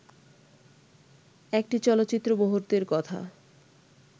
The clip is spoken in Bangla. একটি চলচ্চিত্র-মুহূর্তের কথা